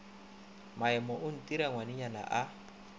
maime o ntira ngwanagwe a